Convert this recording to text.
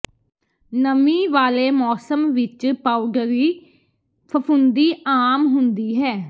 ਨਮੀ ਵਾਲੇ ਮੌਸਮ ਵਿੱਚ ਪਾਊਡਰਰੀ ਫ਼ਫ਼ੂੰਦੀ ਆਮ ਹੁੰਦੀ ਹੈ